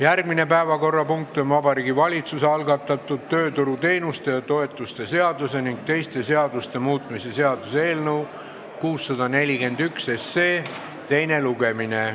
Järgmine päevakorrapunkt on Vabariigi Valitsuse algatatud tööturuteenuste ja -toetuste seaduse ning teiste seaduste muutmise seaduse eelnõu teine lugemine.